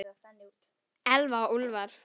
Elfa og Úlfar.